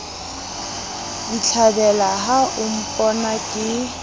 ditlhabela ha o mpona ke